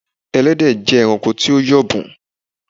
Ẹlẹ́dẹ̀ jé ẹranko tí o yọ̀bùn